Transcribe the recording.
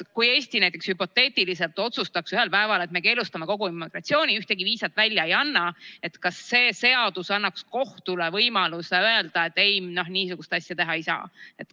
Kui Eesti näiteks hüpoteetiliselt otsustaks ühel päeval, et me keelustame kogu immigratsiooni, ühtegi viisat välja ei anna, kas see seadus annaks kohtule võimaluse öelda, et ei, niisugust asja teha ei saa?